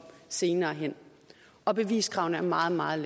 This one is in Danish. senere hen og beviskravene er meget meget